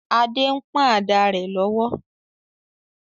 Adé ń pọ̀n ada rẹ̀ lọ́wọ́